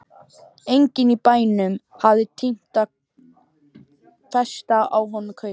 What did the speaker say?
Enginn í bænum hafði tímt að festa á honum kaup.